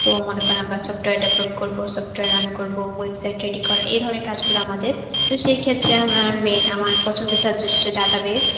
তো মনে করুন আমরা software develop করবো, software run করবো, website ready করা এই ধরনের কাজগুলো আমাদের. তো সেই ক্ষেত্রে আমার main আমার পছন্দের subject হচ্ছে database.